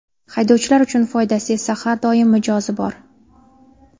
Haydovchilar uchun foydasi esa har doim mijozi bor.